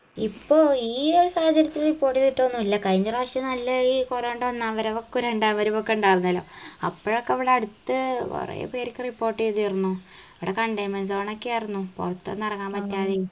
ഇപ്പൊ ഈ ഒരു സാഹചര്യത്തിൽ report ചെയ്തിട്ടൊന്നില്ല കയ്‌ന റാശ്യം നല്ല ഈ corona ൻറെ അന്ന് ഉണ്ടായിരുന്നല്ലോ അപ്പോഴൊക്കെ ഇവിടടുത്ത് കൊറേ പേരിക്ക് report എയ്തിർന്നു ഇവിട containment zone ഒക്കെ ആയിർന്നു പൊറത്തൊന്നു എറങ്ങാൻ പറ്റാതെയും